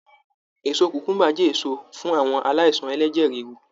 Èso kùkùḿbà jẹ́ èso fún àwọn aláìsàn ẹlẹ́jẹ̀ ríru